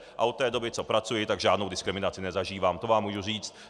A od té doby, co pracuji, tak žádnou diskriminaci nezažívám, to vám můžu říct.